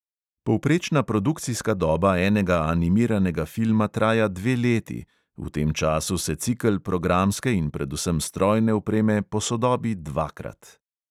Povprečna produkcijska doba enega animiranega filma traja dve leti, v tem času se cikel programske in predvsem strojne opreme posodobi dvakrat.